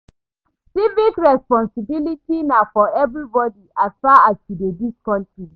Civic responsibility na for everybodi as far as sey you dey dis country.